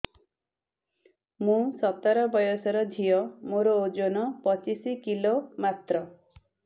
ମୁଁ ସତର ବୟସର ଝିଅ ମୋର ଓଜନ ପଚିଶି କିଲୋ ମାତ୍ର